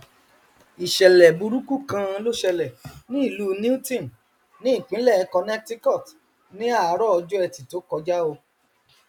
ìṣẹlẹ burúkú kan ló ṣẹlẹ ní ìlú newton ní ìpínlẹ connecticut ní àárọ ọjọ ẹtì tó kọjá o